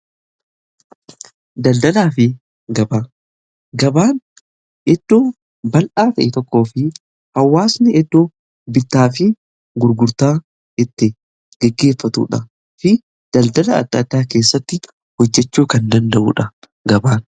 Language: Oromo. daldalaa fi gabaa, gabaan iddoo bal'aa ta'e tokko fi hawwaasni iddoo bittaa fi gurgurtaa itti geggeeffatudha fi daldala adda addaa keessatti hojjechuu kan danda'uudha gabaan.